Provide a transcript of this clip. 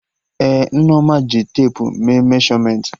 Ee, Nneoma ji tepu mee meshọmentị